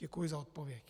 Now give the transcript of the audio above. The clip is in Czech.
Děkuji za odpověď.